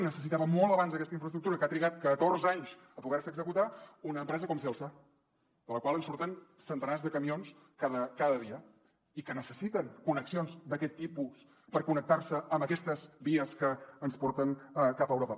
necessitava molt abans aquesta infraestructura que ha trigat catorze anys a poder se executar una empresa com celsa de la qual en surten centenars de camions cada dia i que necessiten connexions d’aquest tipus per connectar se amb aquestes vies que ens porten cap a europa